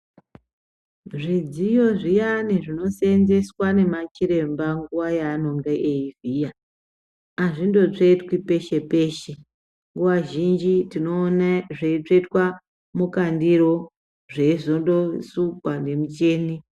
Zvidziyo zviyani zvinosenzeswa ngemachiremba nguwa yavanenge veivhiya azvindotsvetwi peshe peshe nguwa zhinji tinoone zveitsvetwa mukandiro zveizondosulwa nemucheni.